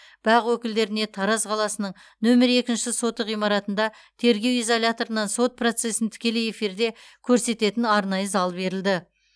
бақ өкілдеріне тараз қаласының нөмірі екінші соты ғимаратында тергеу изоляторынан сот процесін тікелей эфирде көрсететін арнайы зал берілді